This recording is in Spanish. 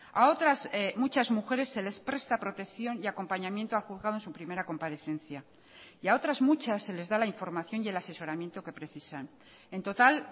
a otras muchas mujeres se les presta protección y acompañamiento a juzgado en su primera comparecencia y a otras muchas se les da la información y el asesoramiento que precisan en total